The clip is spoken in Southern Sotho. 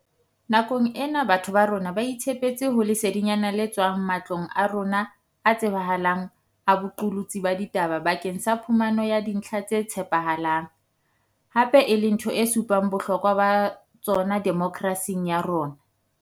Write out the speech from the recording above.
Nakong ena batho ba rona ba itshepetse ho lesedinyana le tswang ma tlong a rona a tsebahalang a boqolotsi ba ditaba bakeng sa phumano ya dintlha tse tshepahalang, hape e le ntho e supang bohlokwa ba tsona demokrasi ya rona.